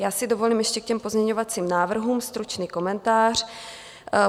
Já si dovolím ještě k těm pozměňovacím návrhům stručný komentář.